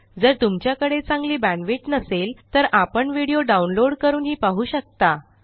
जर तुमच्याकडे चांगली बॅण्डविड्थ नसेल तर आपण व्हिडिओ डाउनलोड करूनही पाहू शकता